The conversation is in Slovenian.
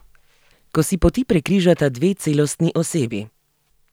Ko si poti prekrižata dve celostni osebi.